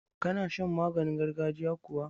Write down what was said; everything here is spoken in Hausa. Ka na shan maganin gargajiya kuwa?